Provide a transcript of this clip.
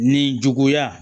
Nin juguya